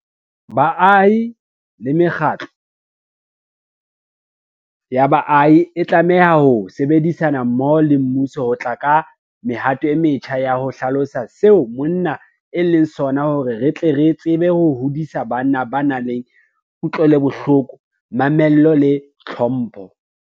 Baahi le mekgatlo ya baahi e tlameha ho sebedisana mmoho le mmuso ho tla ka mehato e metjha ya ho hlalosa seo monna e leng sona hore re tle re tsebe ho hodisa banna ba nang le kutlwelobohloko, mamello le tlhompho.